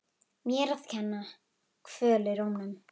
Mér að kenna- Kvöl í rómnum.